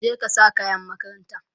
je ka sa kayan makaranta!